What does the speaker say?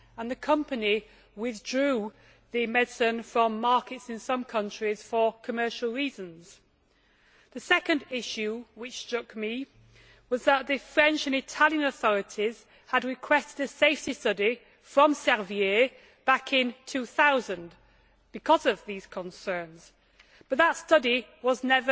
The company withdrew the medicine from markets in some countries for commercial reasons. The second issue which struck me was that the French and Italian authorities had requested a safety study from Servier back in 2000 because of these concerns, but that study was not